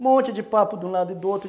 Um monte de papo de um lado e do outro.